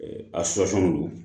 A don